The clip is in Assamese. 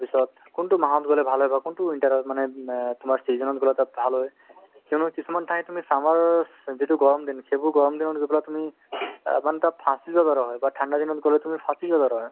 তাৰপিছত কোনতো মাহত গ'লে ভাল হ'ব কোনতো winter ত মানে অ তোমাৰ season ত গ'লে তাত ভাল হয় সেইবুলি কিছুমান ঠাই তুমি summers ৰৰ যিটো গৰম দিন সেইবোৰ গৰম দিনত গৈ পেলাই তুমি তাৰ মানে তাত ফাচি যোৱাৰ দৰে হয় বা ঠাণ্ডা দিনত গ'লে তুমি ফাচি যোৱাৰ দৰে হয়